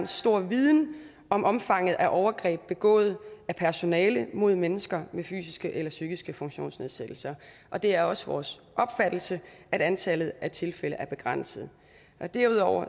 stor viden om omfanget af overgreb begået af personale mod mennesker med fysiske eller psykiske funktionsnedsættelser og det er også vores opfattelse at antallet af tilfælde er begrænset derudover